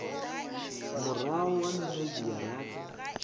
murahu ha minwedzi ya rathi